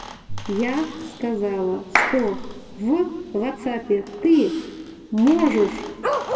я сказала что в вотсапе ты можешь